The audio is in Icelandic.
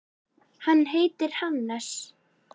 Hann heitir Hannes.